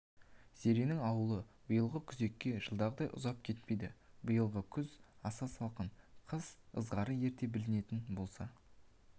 зеренің ауылы биылғы күзекке жылдағыдай ұзап кетпеді биылғы күз аса салқын қыс ызғары ерте білінетін болса